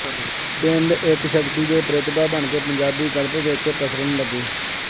ਪਿੰਡ ਇੱਕ ਸ਼ਕਤੀ ਤੇ ਪ੍ਰਤਿਭਾ ਬਣਕੇ ਪੰਜਾਬੀ ਗਲਪ ਵਿੱਚ ਪਸਰਨ ਲੱਗੇ